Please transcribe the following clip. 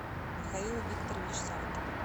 михаил викторович савкин